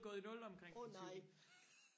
åh nej